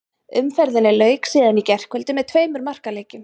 Umferðinni lauk síðan í gærkvöldi með tveimur markaleikjum.